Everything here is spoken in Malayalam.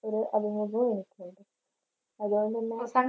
അതുകൊണ്ടുതന്നെ